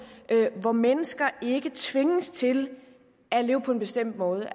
hvor mennesker ikke tvinges til at leve på en bestemt måde